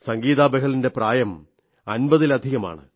സഗീതാ ബഹലിന്റെ പ്രായം 50 ലധികമാണ്